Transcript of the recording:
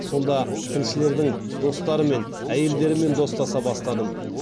сонда тілшілердің достарымен әйелдерімен достаса бастадым